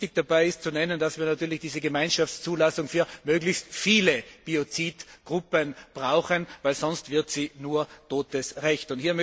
Und wichtig dabei ist, darauf hinzuweisen, dass wir natürlich diese Gemeinschaftszulassung für möglichst viele Biozidgruppen brauchen, denn sonst wird sie nur totes Recht.